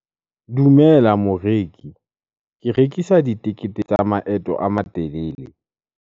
Dumela moreki. Ke rekisa ditekete tsa maeto a matelele.